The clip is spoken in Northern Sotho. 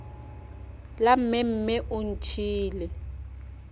la mme mme o ntšhiile